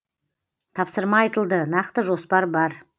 тапсырма айтылды нақты жоспар бар